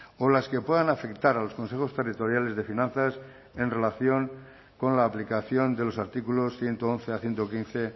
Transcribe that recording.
o las que puedan afectar a los consejos territoriales de finanzas en relación con la aplicación de los artículos ciento once a ciento quince